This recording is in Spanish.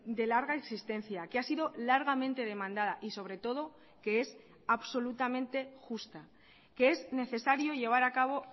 de larga existencia que ha sido largamente demandada y sobre todo que es absolutamente justa que es necesario llevar a cabo